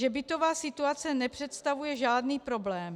Že bytová situace nepředstavuje žádný problém.